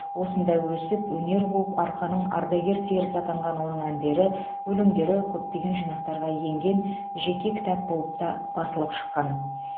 осында өсіп өнер қуып арқаның ардагер серісі атанған оның әндері өлеңдері көптеген жинақтарға енген жеке кітап болып та басылып шыққан